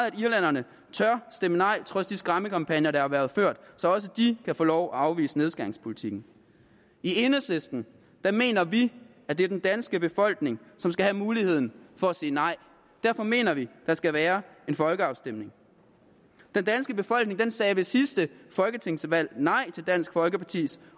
at irlænderne tør stemme nej trods de skræmmekampagner der har været ført så også de kan få lov at afvise nedskæringspolitikken i enhedslisten mener vi at det er den danske befolkning som skal have muligheden for at sige nej derfor mener vi der skal være en folkeafstemning den danske befolkning sagde ved sidste folketingsvalg nej til dansk folkepartis